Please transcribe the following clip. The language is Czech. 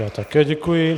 Já také děkuji.